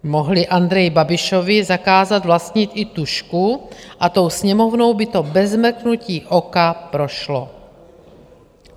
Mohli Andreji Babišovi zakázat vlastnit i tužku a tou Sněmovnou by to bez mrknutí oka prošlo.